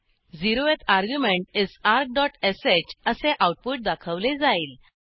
zeroth argument is argश असे output दाखवले जाईल